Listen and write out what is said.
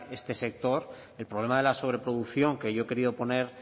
este sector el problema de la sobreproducción que yo he querido poner